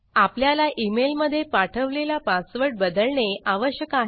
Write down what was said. आपल्याला emailमध्ये पाठवलेला पासवर्ड बदलणे आवश्यक आहे